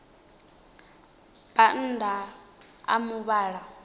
bannda a muvhala mutswuku i